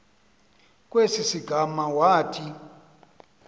kwesi sigama wathi